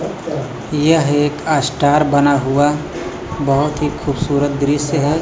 यह एक आसटार बना हुआ बहोत ही खूबसूरत दृश्य है।